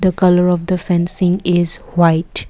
the colour of the fencing is white.